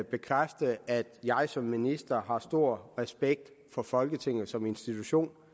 bekræfte at jeg som minister har stor respekt for folketinget som institution